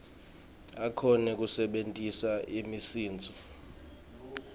akhone kusebentisa imisindvo